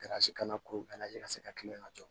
kana ko ka se ka tilen ka jɔ